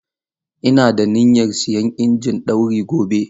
Ina da niyyar siyan injin ɗauri gobe.